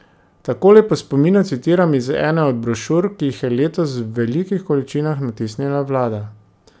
Takole po spominu citiram iz ene od brošur, ki jih je letos v velikih količinah natisnila vlada.